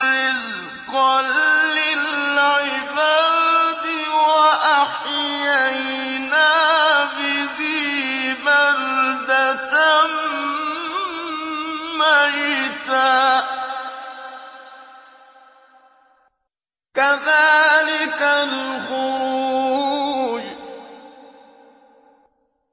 رِّزْقًا لِّلْعِبَادِ ۖ وَأَحْيَيْنَا بِهِ بَلْدَةً مَّيْتًا ۚ كَذَٰلِكَ الْخُرُوجُ